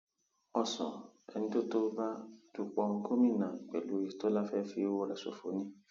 ọsùn ẹni tó tó bá dúpọ gómìnà pẹlú ọyétọlá fẹẹ fi ọwọ rẹ ṣòfò ni